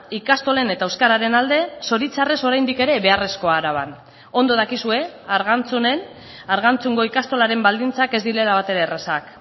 ikastolen eta euskararen alde zoritxarrez oraindik ere beharrezkoa araban ondo dakizue argantzunen argantzungo ikastolaren baldintzak ez direla batere errazak